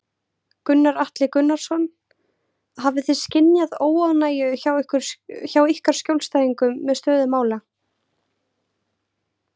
Gunnar Atli Gunnarsson: Hafið þið skynjað óánægju hjá ykkar skjólstæðingum með stöðu mála?